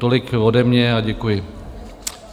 Tolik ode mě a děkuji.